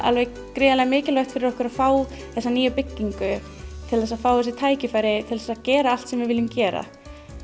gríðarlega mikilvægt fyrir okkur að fá þessa nýju byggingu til þess að fá þessi tækifæri til að gera allt sem við viljum gera